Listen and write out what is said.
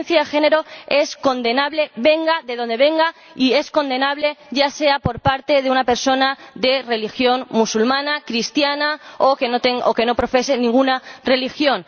La violencia de género es condenable, venga de donde venga, y es condenable, ya sea por parte de una persona de religión musulmana, cristiana o que no profese ninguna religión.